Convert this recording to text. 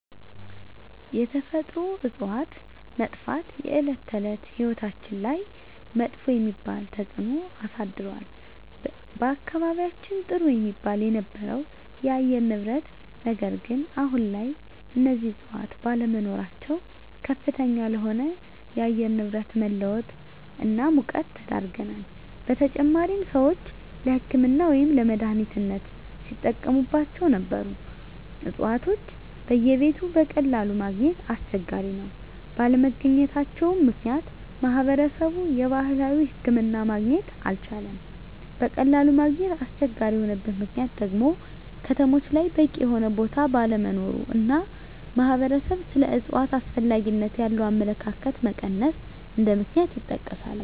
የተፈጥሮ እፅዋት መጥፍት የእለት እለት ህይወታችን ላይመጥፎ የሚባል ተፅእኖ አሳድሮል በአካባቢየችን ጥሩ የሚባል የነበረው የአየር ንብረት ነገር ግን አሁን ላይ እነዚህ እፅዋት ባለመኖራቸው ከፍተኛ ለሆነ የአየር ንብረት መለወጥ እና ሙቀት ተዳርገናል : በተጨማሪም ሰወች ለህክምና ወይም ለመድሐኒትነት ሲጠቀሞቸው ነበሩ እፅዋቶች በየቤቱ በቀላሉ ማገኘት አስቸጋሪ ነው ባለመገኘታቸው ምክንያት ማህበረሰብ የባህላዊ ሕክምና ማግኘት አልቻለም በቀላሉ ማግኘት አስቸጋሪ የሆነበት ምክንያት ደግሞ ከተሞች ላይ በቂ የሆነ ቦታ ባለመኖሩ እና ማህበረሰብ ስለ እፅዋት አስፈላጊነት ያለው አመለካከት መቀነስ እንደ ምክንያት ይጠቀሳሉ።